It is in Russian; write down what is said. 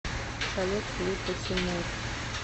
салют клипы тимур